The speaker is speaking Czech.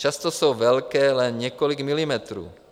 Často jsou velké jen několik milimetrů.